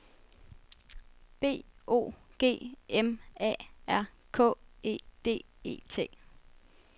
B O G M A R K E D E T